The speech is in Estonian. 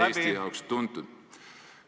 ... on Eestit seni iseloomustanud.